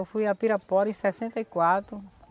Eu fui a Pirapora em sessenta e quatro.